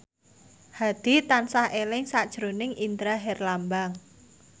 Hadi tansah eling sakjroning Indra Herlambang